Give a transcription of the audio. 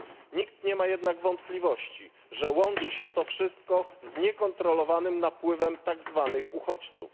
Nikt nie ma jednak wątpliwości, że łączy się to wszystko z niekontrolowanym napływem tak zwanych uchodźców.